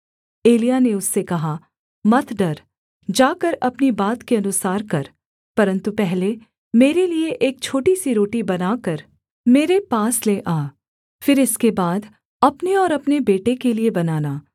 एलिय्याह ने उससे कहा मत डर जाकर अपनी बात के अनुसार कर परन्तु पहले मेरे लिये एक छोटी सी रोटी बनाकर मेरे पास ले आ फिर इसके बाद अपने और अपने बेटे के लिये बनाना